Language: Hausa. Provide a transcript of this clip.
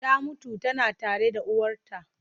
Ta mutu tana tare da uwarta.